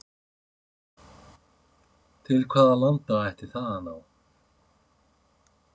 Til hvaða landa ætti það að ná?